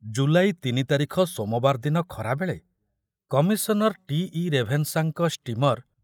ଜୁଲାଇ ତିନି ତାରିଖ ସୋମବାର ଦିନ ଖରାବେଳେ କମିଶନର ଟି.ଇ. ରେଭେନ୍‌ସାଙ୍କ ସ୍ଟିମର୍‌